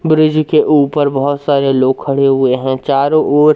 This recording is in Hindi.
ब्रिज के ऊपर बहोत सारे लोग खड़े हुए हैं चारों ओर--